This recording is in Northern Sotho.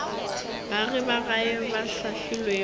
baagi ba gae ba hlahlilwego